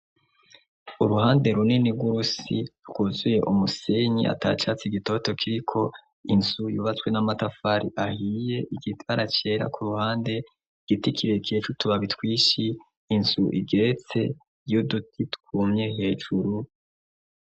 Uruhande runeni rw'urusi rwuzuye umusenyi ata catsi gitoto kiriko inzu yubatswe n'amatafari ahiye igitara cera ku ruhande igiti kirie kecu tubabitwishi inzu igeretse yo duti twumye hejuru.